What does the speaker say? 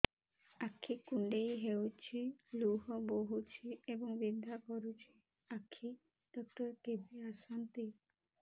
ଆଖି କୁଣ୍ଡେଇ ହେଉଛି ଲୁହ ବହୁଛି ଏବଂ ବିନ୍ଧା କରୁଛି ଆଖି ଡକ୍ଟର କେବେ ଆସନ୍ତି